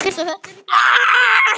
Síðari hluti